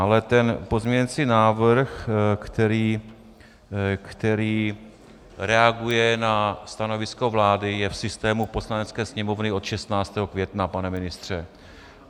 Ale ten pozměňovací návrh, který reaguje na stanovisko vlády, je v systému Poslanecké sněmovny od 16. května, pane ministře.